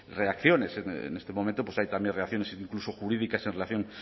reacciones en este momento pues hay también reacciones incluso jurídicas en relación